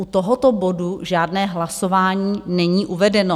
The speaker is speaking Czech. U tohoto bodu žádné hlasování není uvedeno.